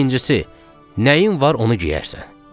İkincisi, nəyin var onu geyərsən.